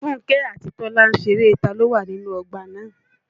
Fúnkẹ́ àti Tọ́lá ń ṣeré ta ló wà nínú ọgbà náà